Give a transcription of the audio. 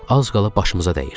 Az qala başımıza dəyirdi.